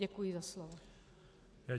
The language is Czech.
Děkuji za slovo.